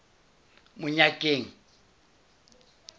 monyakeng